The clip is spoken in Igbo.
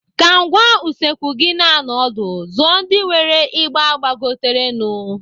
Ka ngwá usekwu gị na-anọ ọdụ, zụọ ndị nwere ịgba gbagoterenụ.